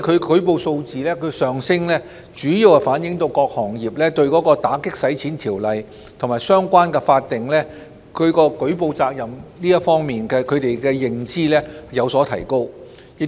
舉報數字上升，主要反映各行業對有關打擊洗錢的條例及相關法定舉報責任的認知有所提高。